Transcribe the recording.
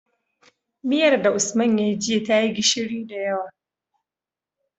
Miyar da usman yayi jiya tayi gishiri da yawa